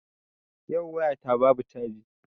Yau waya ta babu caji.